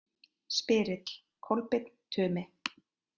Spyrill: Kolbeinn Tumi